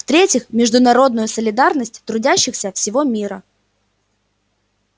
в третьих международную солидарность трудящихся всего мира